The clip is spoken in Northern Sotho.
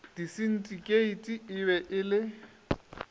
disindikeiti e be e le